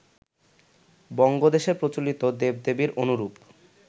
বঙ্গদেশে প্রচলিত দেব-দেবীর অনুরূপ